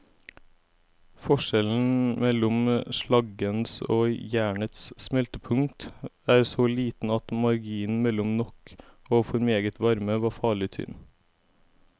Forskjellen mellom slaggens og jernets smeltepunkt er så liten at marginen mellom nok og for meget varme var farlig tynn.